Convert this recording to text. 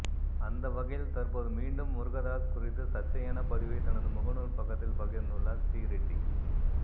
அந்த வகையில் தற்போது மீண்டும் முருகதாஸ் குறித்து சர்ச்சையான பதிவை தனது முகநூல் பக்கத்தில் பகிர்ந்துள்ளார் ஸ்ரீரெட்டி